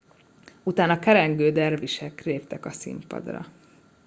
utána kerengő dervisek léptek színpadra